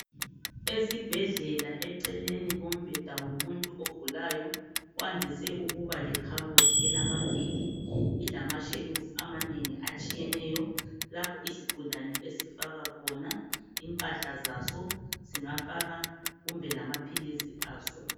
Esibhedlela eceleni kombheda womuntu ogulayo kwandise ukuba lekhabothi elamavili ilamashelufu amanengi atshiyeneyo lapho isigulane esifaka khona impahla zaso singafaka kumbe lamaphilisi aso.